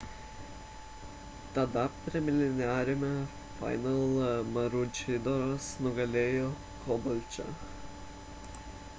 tada preliminariame finale maručidoras nugalėjo kabolčą